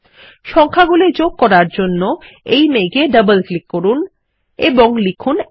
সংখ্যাগুলি যোগ করার জন্য এই মেঘ এ ডবল ক্লিক করুন এবং লিখুন ১